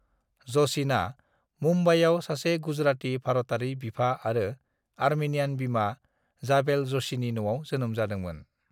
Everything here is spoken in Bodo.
"जशीनआ मुंबईआव सासे गुजराती भारतारि बिफा आरो अर्मेनियान बिमा, जाबेल ज'शीनि न'आव जोनोम जादोंमोन।"